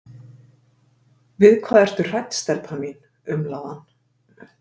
Við hvað ertu hrædd, stelpa mín? umlaði hann.